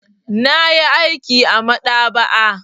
Na yi aiki a maɗaba'a.